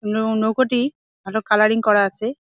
নৌ নৌকোটি ভালো কালারিং করা আছে।